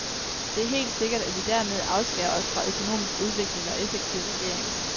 Det er helt sikkert, at vi dermed afskærer os fra økonomisk udvikling og effektiv regering.